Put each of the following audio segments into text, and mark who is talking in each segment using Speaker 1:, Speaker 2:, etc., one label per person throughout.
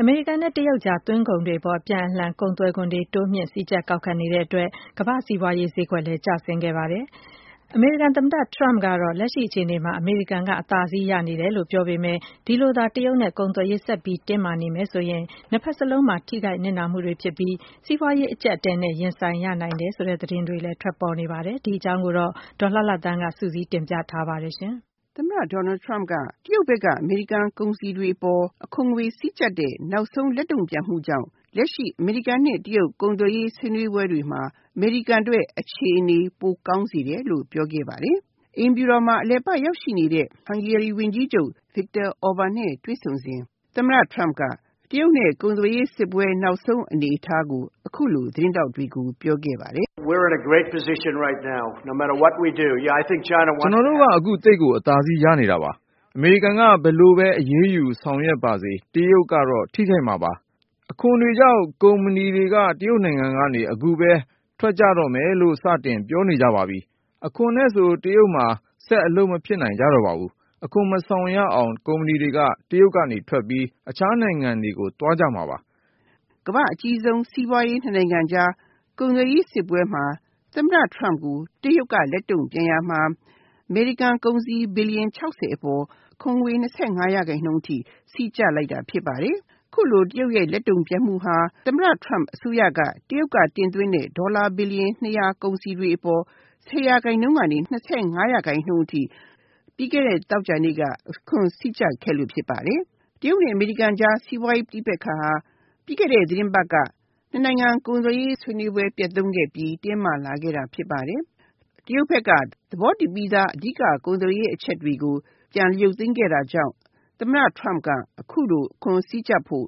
Speaker 1: အမေရိကန်နဲ့ တရုတ်အကြား သွင်းကုန်တွေအပေါ် အပြန်အလှန်ကုန်သွယ်ခွန်တွေ စည်းကြပ် ကောက်ခံနေတဲ့အတွက် ကမ္ဘာစီးပွားရေးဈေးကွက်လည်းကျဆင်းသွားပါတယ်။ အမေရိကန်သမ္မတ Trump ကတော့ လက်ရှိအခြေအနေမှ အမေရိကန်က အသာစီး ရနေတယ်လို့ပြောပေမယ့် ဒီလိုသာ တရုတ်နဲ့ ကုန်သွယ်ရေးဆက်ပြီးတော့ တင်းမာနေမယ်ဆိုရင် ၂ ဖက်စလုံးမှာ ထိခိုက်နစ်နာမှုတွေဖြစ်ပြီး စီးပွားရေးအကျပ်အတည်းနဲ့ ရင်ဆိုင်ရနိုင်တယ်ဆိုတဲ့သတင်းတွေလည်း ထွက်ပေါ်နေပါတယ်။ ဒီအကြောင်းကို ဒေါ်လှလှသန်းက စုစည်းတင်ပြထားပါတယ်။
Speaker 2: အမေရိကန်သမ္မတ Trump က တရုတ်ဘက်က အမေရိကန်ကုန်စည်တွေအပေါ် အခွန်ငွေစည်းကြပ်တဲ့ နောက်ဆုံးလက်တုံ့ပြန်မှုကြောင့် လက်ရှိ အမေရိကန်နဲ့ တရုတ်အကြား ကုန်သွယ်ရေးဆွေးနွေးပွဲတွေမှာ အမေရိကန်အတွက်အခြေအနေ ပိုကောင်းစေတယ်လို့ ပြောခဲ့ပါတယ်။ အိမ်ဖြူတော်မှာ အလည်ပတ်ရောက်ရှိနေတဲ့ Hungary ဝန်ကြီးချုပ် Viktor Orban နဲ့ တွေ့ဆုံစဉ် တရုတ်နဲ့ ကုန်သွယ်ရေးစစ်ပွဲ နောက်ဆုံး အနေအထားကို အခုလို သတင်းထောက်တွေကို ပြောခဲ့ပါတယ်။ “
Speaker 1: ကျနော်တ
Speaker 2: ို့က အခုသိပ်ကိ
Speaker 1: ု အသာစီးရနေတာပါ။ အမေရိကန်က ဘယ်လိုပဲအရေးယူဆောင်ရွက်ပါစေ၊ တရုတ်ကတော့ ထိခိုက်မှာပါ။ အခုပဲ ကုမ္ပဏီတွေက အခွန်တွေကြောင့် တရုတ်နိုင်ငံကနေ ထွက်ကြတော့မယ်လို့ စတင်ပြောနေကြပါပြီ။ အခွန်နဲ့ဆို တရုတ်မှာ ဆက် အလုပ်မဖြစ်နိုင်ကြ တော့ပါဘူး။ အခွန်မဆောင်ရအောင် ကုမ္ပဏီတွေက တရုတ်ကနေ ထွက်ပြီး အခြားနိုင်ငံတွေကို သွားကြမှာပါ။
Speaker 2: ” ကမ္ဘာ့အကြီးဆုံး စီးပွားရေး ၂ နိုင်ငံကြား ကုန်သွယ်ရေးစစ်ပွဲမှာ သမ္မတ Trump ကို တရုတ်က လက်တုံ့ပြန်ရာမှာ အမေရိကန် ကုန်စည် ဘီလီယံ ၆၀ အပေါ် အခွန်ငွေ ၂၅ % နှုန်းအထိ စည်းကျပ်လိုက်တာဖြစ်ပါတယ်။ အခုလို တရုတ်ရဲ့ လက်တုံ့ပြန်မှုဟာ သမ္မတ Trump အစိုးရက တရုတ်က တင်သွင်းတဲ့ ဒေါ်လာ ဘီလီယံ ၂၀၀ ကုန်စည်တွေအပေါ် ၁၀ % ကနေ ၂၅ % နှုန်းအထိ ပြီးခဲ့တဲ့ သောကြာနေ့က အခွန်စည်းကျပ်ခဲ့လို့ဖြစ်ပါတယ်။ တရုတ်နဲ့ အမေရိကန်အကြား စီးပွားရေး ပဋိပက္ခဟာ ပြီးခဲ့တဲ့ သီတင်းပတ်က ၂ နိုင်ငံ ကုန်သွယ်ရေးဆွေးနွေးပွဲ ပျက်ခဲ့ပြီး တင်းမာလာတာဖြစ်ပါတယ်။ တရုတ်ဘက်က သဘောတူပြီးသား ကုန်သွယ်ရေးအချက်တွေကို ပြန်ရုပ်သိမ်းခဲ့တာကြောင့် သမ္မတ Trump က အခုလို အခွန်စည်းကြပ်ဖို့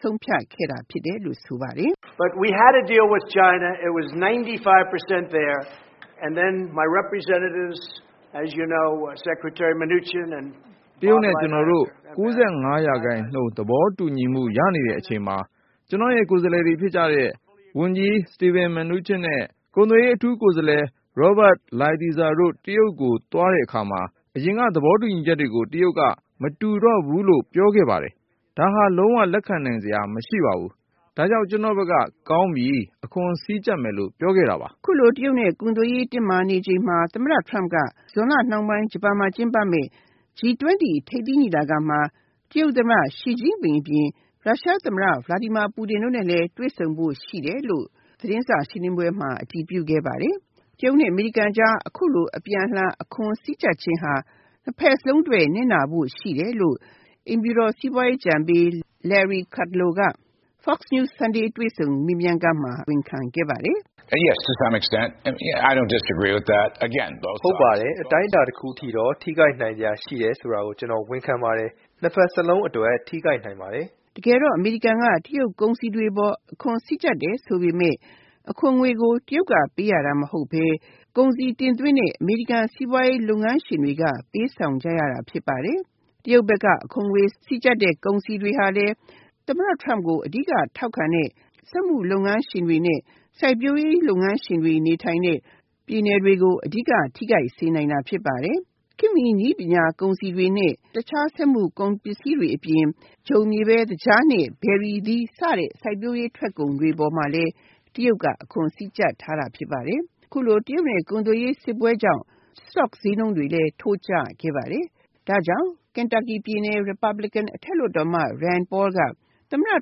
Speaker 2: ဆုံးဖြတ်ခဲ့တာလို့ ဆိုပါတယ်။
Speaker 1: “တရုတ်နဲ့ ကျနော်တို့ ၉၅% သဘောတူညီမှုရနေတဲ့ အချိန်မှာ ကျနော်ရဲ့ ကိုယ်စားလှယ်တွေ ဖြစ်ကြတဲ့ ဝန်ကြီးSteve Mnuchin နဲ့ ကုန်သွယ်ရေးအထူးကိုယ်စားလှယ် Robert Lighthizer တို့ တရုတ်ကို သွားတဲ့အခါမှာ အရင်က သဘောတူညီချက်တွေကို တရုတ်က မတူတော့ဘူးလို့ ပြောခဲ့တယ်။ ဒါဟာ လုံးဝလက်ခံနိုင်စရာမရှိပါဘူး။ ဒါကြောင့် ကျနော့်ဘက်က ကောင်းပြီ၊ အခွန်စည်းကြပ်မယ်လို့ ပြောခဲ့တာပါ။”
Speaker 2: အခုလို တရုတ်နဲ့ ကုန်သွယ်ရေး တင်းမာနေချိန်မှာ သမ္မတ Trump က ဇွန်လနှောင်းပိုင်း ဂျပန်မှာ ကျင်းပမယ့် G-20 ထိပ်သီးညီလာခံမှာ တရုတ်သမ္မတ Xi အပြင် ရုရှားသမ္မတ Vladimir Putin တို့နဲ့လည်း တွေ့ဖို့ရှိတယ်လို့ သတင်းစာရှင်းလင်းပွဲမှာ အတည်ပြုခဲ့ပါတယ်။ တရုတ်နဲ့ အမေရိကန်အကြား အခုလို အပြန်အလှန် အခွန်စည်းကြပ်တာဟာ နှစ်ဖက်စလုံးအတွက် နစ်နာဖို့ရှိတယ်လို့ အိမ်ဖြူတော် စီးပွားရေးအကြံပေး Larry Cudlow က Fox news Sunday တွေ့ဆုံမေးမြန်းခန်းမှာ ဝန်ခံခဲ့ပါတယ်။
Speaker 1: “ဟုတ်ပါတယ်။ အတိုင်းအတာတခုထိတော့ ထိခိုက်နိုင်စရာရှိတယ်ဆိုတာကို ကျနော် ဝန်ခံပါတယ်။ နှစ်ဘက်စလုံးအတွက် ထိခိုက်နိုင်ပါတယ်။
Speaker 2: ” တကယ်တော့ အမေရိကန်က တရုတ်ကုန်တွေအပေါ် အခွန်စည်းကြပ်တယ်ဆိုပေမယ့် အခွန်ငွေကို တရုတ်က ပေးရတာမဟုတ်ပဲ ကုန်စည်တင်သွင်းတဲ့ အမေရိကန် စီးပွားရေး လုပ်ငန်းရှင်တွေက ပေးဆောင်ရတာဖြစ်ပါတယ်။ တရုတ်ဘက်က အခွန်ငွေ စည်းကြပ်တဲ့ ကုန်စည်တွေဟာလည်း သမ္မတ Trump ကို အဓိက ထောက်ခံတဲ့ စက်မှုလုပ်ငန်းရှင်တွေ နဲ့ စိုက်ပျိုးရေးလုပ်ငန်းရှင်တွေ နေထိုင်တဲ့ ပြည်နယ်တွေကို အဓိက ထိခိုက်စေနိုင်တာဖြစ်ပါတယ်။ ခေတ်မီနည်းပညာ၊ ကုန်စည်တွေနဲ့ တခြားစက်မှုလုပ်ငန်းကုန်စည်တွေအပြင် ဂျုံ၊ မြေပဲ၊ သကြား နဲ့ ဘယ်ရီအသီး စတဲ့ စိုက်ပျိုးရေးထွက်ကုန်တွေမှာလည်း တရုတ်က အခွန်စည်းကြပ်ထားတာဖြစ်ပါတယ်။ အခုလို တရုတ်နဲ့ ကုန်သွယ်ရေးစစ်ပွဲကြောင့် စတော့ ဈေးနှုန်းတွေလည်း ထိုးကျခဲ့ပါတယ်။ ဒါကြောင့် အထက်လွှတ်တော်အမတ် Rand Paul က သမ္မတ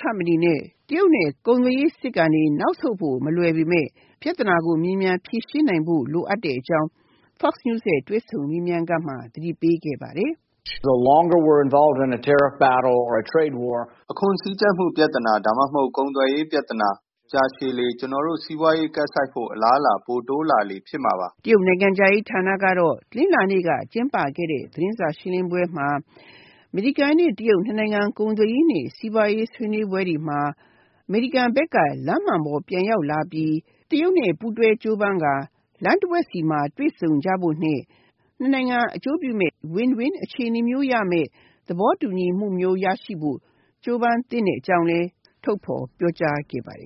Speaker 2: Trump အနေနဲ့ တရုတ်နဲ့ ကုန်သွယ်ရေးစစ်ကနေ နောက်ဆုတ်ဖို့မလွယ်ပေမယ့် ပြဿနာကို မြန်မြန်ဖြေရှင်းနိုင်ဖို့ လိုကြောင်း Fox news တွေ့ဆုံမေးမြန်းခန်းမှာ သတိပေးခဲ့ပါတယ်။
Speaker 1: “အခွန်စည်းကြပ်မှု ဒါမှမဟတု် ကုန်သွယ်ရေးပြဿနာ ကြာရှည်လေ ကျနော်တို့ စီးပွားရေးကပ်ဆိုက်ဖို့ အလားအလာ ပိုတိုးလာလေ ဖြစ်မှာပါ။
Speaker 2: ” တရုတ်နိုင်ငံခြားရေးဌာနကတော့ တနင်္လာနေ့က ကျင်းပခဲ့တဲ့ သတင်းစာရှင်းလင်းပွဲမှာ အမေရိကန်နဲ့ တရုတ် ၂ နိုင်ငံ ကုန်သွယ်ရေးနဲ့ စီးပွားရေးဆွေးနွေးပွဲ တွေမှာ အမေရိကန်ဘက်က လမ်းမှန်ပေါ်ပြန်ရောက်လာပြီး တရုတ်နဲ့ ပူးတွဲကြိုးပမ်းကာ လမ်းတဝက်မှာ တွေ့ဆုံကြဖို့နဲ့ နှစ်နိုင်ငံ အကျိုးပြုမယ့် win- win အခြေအနေမျိုးရောက်မယ့် သဘောတူညီမှုမျိုး ရရှိဖို့ ကြိုးပမ်းသင့်တဲ့အကြောင်းလည်း ထုတ်ဖော်ပြောကြားခဲ့ပါတယ်